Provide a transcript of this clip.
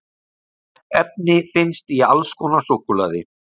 efni finnst í alls konar súkkulaði